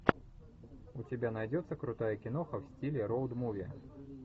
у тебя найдется крутая киноха в стиле роуд муви